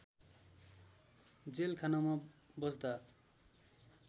jail खानामा बस्दा